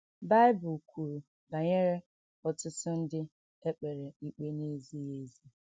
Bible kwuru banyere ọtụtụ ndị e kpere ikpe na - ezighị ezi.